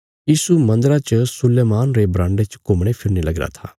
यीशु मन्दरा च सुलैमान रे बराण्डे च घुम्मणे फिरने लगीरा था